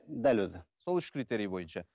дәл өзі сол үш критерий бойынша